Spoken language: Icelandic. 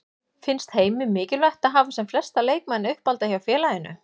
Finnst Heimi mikilvægt að hafa sem flesta leikmenn uppalda hjá félaginu?